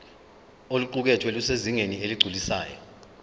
oluqukethwe lusezingeni eligculisayo